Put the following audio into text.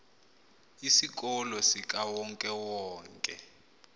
isikolo sikawonke wonke